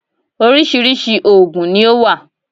Orísirísi ògùn ni ó wà